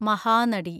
Mahanati